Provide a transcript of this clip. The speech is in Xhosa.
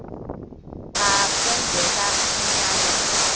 a kwenzeka umanyano